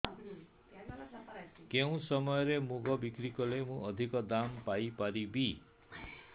କେଉଁ ସମୟରେ ମୁଗ ବିକ୍ରି କଲେ ମୁଁ ଅଧିକ ଦାମ୍ ପାଇ ପାରିବି